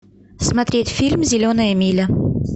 смотреть фильм зеленая миля